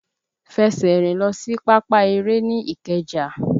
Fẹsẹ̀ rìn lọ sí pápá eré ní ìkeja!